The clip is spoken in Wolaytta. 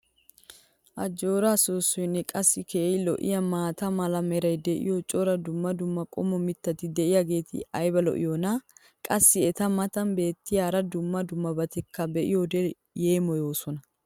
ajjoora soosoynne qassi keehi lo'iyaa maata mala meray diyo cora dumma dumma qommo mitati diyaageti ayba lo'iyoonaa? qassi eta matan beetiya hara dumma dummabatikka be'iyoode yeemmoyoosona.